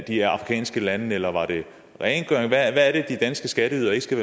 i de afrikanske lande eller rengøring hvad er det de danske skatteydere ikke skal